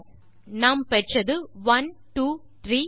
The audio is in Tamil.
ஒக் நாம் பெற்றது 1 2 3